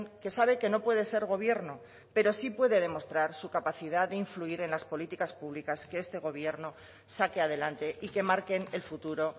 que sabe que no puede ser gobierno pero sí puede demostrar su capacidad de influir en las políticas públicas que este gobierno saque adelante y que marquen el futuro